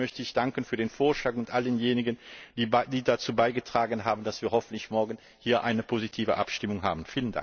Deshalb möchte ich danken für den Vorschlag und all denjenigen, die dazu beigetragen haben, dass wir hoffentlich morgen eine positive Abstimmung haben.